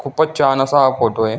खुपचं छान असा हा फोटो आहे.